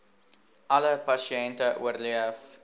alle pasiënte oorleef